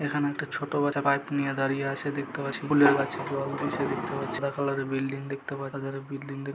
এখানে একটা ছোট বাচ্চা পাইপ নিয়ে দাঁড়িয়ে আছে দেখতে পাচ্ছি ফুলের গাছে জল দিচ্ছে দেখতে পাচ্ছি সাদা কালারের বিল্ডিং দেখতে পাচ্ছি বিল্ডিং দেখতে-- ।